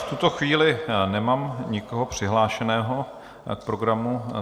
V tuto chvíli nemám nikoho přihlášeného k programu.